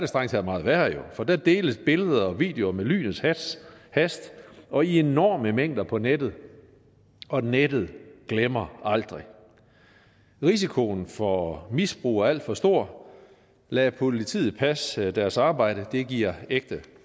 strengt taget meget værre for der deles billeder og videoer med lynets hast hast og i enorme mængder på nettet og nettet glemmer aldrig risikoen for misbrug af alt for stor lad politiet passe deres arbejde det giver ægte